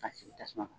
A sigi tasuma kan